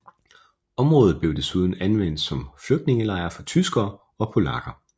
Området blev desuden anvendt som flygtningelejr for tyskere og polakker